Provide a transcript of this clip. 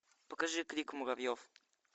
покажи крик муравьев